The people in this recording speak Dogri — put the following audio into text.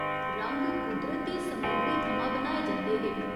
रंग कुदरती समग्री थमां बनाए जंदे हे।